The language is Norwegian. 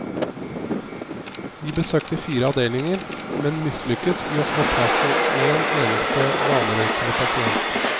Vi besøkte fire avdelinger, men mislykkes i å få tak i en eneste vanerøykende pasient.